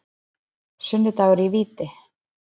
Sunnudagur í víti.